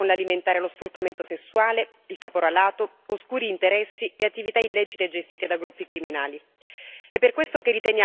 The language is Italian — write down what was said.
Un fenomeno che finisce con l'alimentare lo sfruttamento sessuale, il caporalato, oscuri interessi e attività illecite gestite da gruppi criminali.